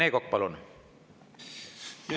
Rene Kokk, palun!